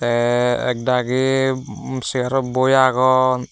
tey ek dagi um seyarot boi agon.